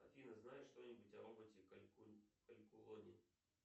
афина знаешь что нибудь о роботе калькулоне